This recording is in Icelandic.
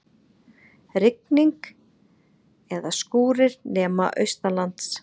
Rigning eða skúrir nema austanlands